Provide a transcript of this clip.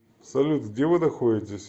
салют где вы находитесь